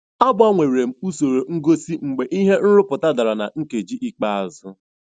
Agbanwere m usoro ngosi mgbe ihe nrụpụta dara na nkeji ikpeazụ.